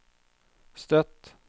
Støtt